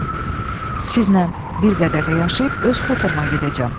Sizlə bir qədər də yaşayıb öz xuturuma gedəcəm.